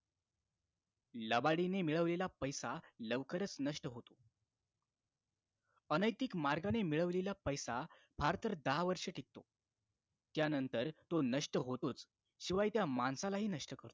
लबाडीने मिळवलेला पैसा लवकरच नष्ट होतो अनैतिक मार्गाने मिळवलेला पैसा फार तर दहा वर्षे टिकतो त्यानंतर तो नष्ट होतोच शिवाय त्या माणसालाही नष्ट करतो